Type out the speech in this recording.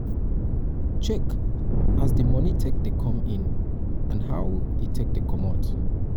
check um as di money take dey come in and how um e um take dey comot dey comot